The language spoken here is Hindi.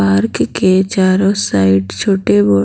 पार्क के चारों साइड छोटे हो --